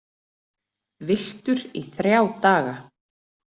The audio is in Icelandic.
Villtur í þrjá daga